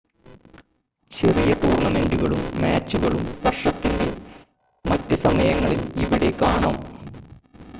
ചെറിയ ടൂർണ്ണമെൻ്റുകളും മാച്ചുകളും വർഷത്തിൻ്റെ മറ്റ് സമയങ്ങളിൽ ഇവിടെ കാണാം